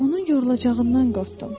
Onun yorulacağından qorxdum.